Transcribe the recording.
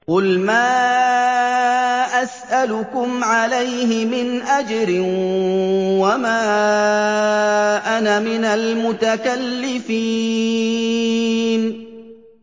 قُلْ مَا أَسْأَلُكُمْ عَلَيْهِ مِنْ أَجْرٍ وَمَا أَنَا مِنَ الْمُتَكَلِّفِينَ